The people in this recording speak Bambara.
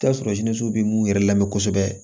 I bi t'a sɔrɔ b'u yɛrɛ lamɛn kosɛbɛ